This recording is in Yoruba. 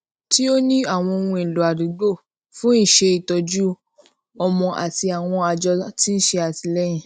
tí ó ní àwọn ohunèlò àdúgbò fún iṣẹ ìtọjú ọmọ àti àwọn àjọ tí ń ṣe àtìléyìn